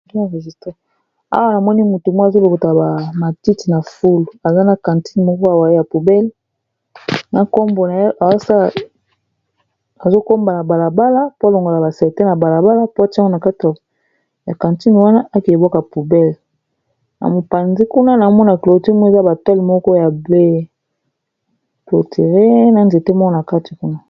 awa na moni motu moko azolokota ba matiti na fulu aza na cantine moko pembeni ya poubell na nkombo na ye azokombola na balabala po alongola basalite na balabala.